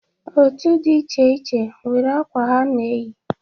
Otu di iche iche nwere akwa ha na-eyi.